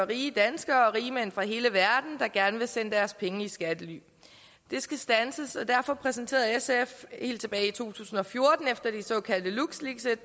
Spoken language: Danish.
rige danskere rigmænd fra hele verden der gerne vil sende deres penge i skattely det skal standses og derfor præsenterede sf helt tilbage i to tusind og fjorten efter de såkaldte lux leaks et